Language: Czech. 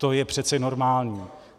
To je přece normální.